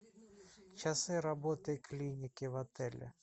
часы работы клиники в отеле